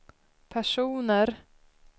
personer